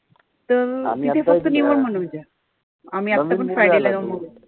तर तिथं फक्त म्हणून आम्ही आतापण friday ला जाऊन आलो.